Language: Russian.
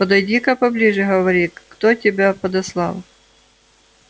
подойди-ка поближе говори кто тебя подослал